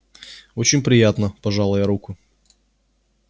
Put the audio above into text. очень приятно пожала я руку